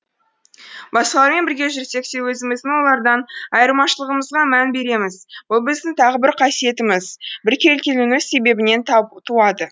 басқалармен бірге жүрсек те өзіміздің олардан айырмашылығымызға мән береміз бұл біздің тағы бір қасиетіміз біркелкілену себебінен туады